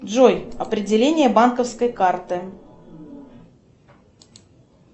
джой определение банковской карты